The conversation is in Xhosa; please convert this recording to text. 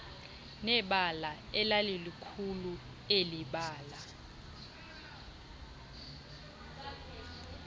nebala elalilikhulu elibala